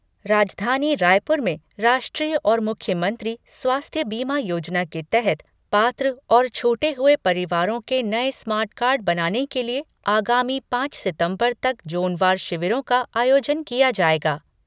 राजधानी रायपुर में राष्ट्रीय और मुख्यमंत्री स्वास्थ्य बीमा योजना के तहत पात्र और छूटे हुए परिवारों के नए स्मार्ट कार्ड बनाने के लिए आगामी पांच सितंबर तक ज़ोनवार शिविरों का आयोजन किया जाएगा।